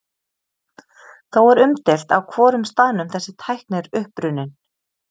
Þó er umdeilt á hvorum staðnum þessi tækni er upprunnin.